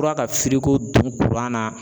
ka don na